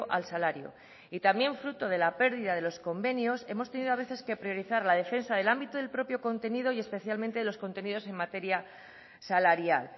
al salario y también fruto de la pérdida de los convenios hemos tenido a veces que priorizar la defensa del ámbito del propio contenido y especialmente de los contenidos en materia salarial